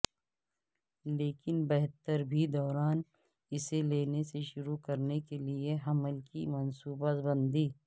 لیکن بہتر بھی دوران اسے لینے سے شروع کرنے کے لئے حمل کی منصوبہ بندی